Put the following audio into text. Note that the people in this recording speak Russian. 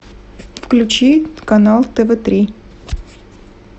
включи канал тв три